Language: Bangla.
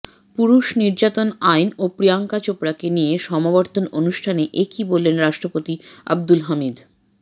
পুরুষ নির্যাতন আইন ও প্রিয়াঙ্কা চোপড়াকে নিয়ে সমাবর্তন অনুষ্ঠানে একি বললেন রাষ্ট্রপতি আব্দুল হামিদ